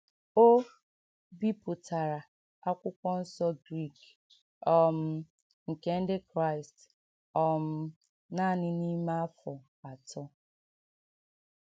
O bipụtara Akwụkwọ Nsọ Grik um nke Ndị Kraịst um nanị n’ime afọ atọ.